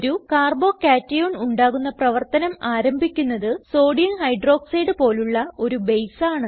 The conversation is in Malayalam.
ഒരു carbo കേഷൻ ഉണ്ടാകുന്ന പ്രവർത്തനം ആരംഭിക്കുന്നത് സോഡിയം ഹൈഡ്രോക്സൈഡ് പോലുള്ള ഒരു ബേസ് ആണ്